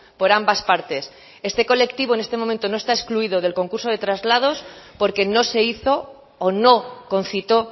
por ambas partes este colectivo en este momento no está excluido del concurso de traslados porque no se hizo o no concitó